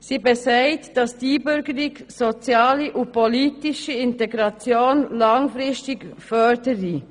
Sie besagt, dass Einbürgerung soziale und politische Integration langfristig fördere.